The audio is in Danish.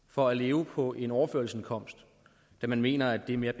for at leve på en overførselsindkomst da man mener at det er mere